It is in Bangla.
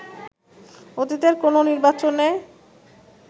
অতীতের কোনো নির্বাচনে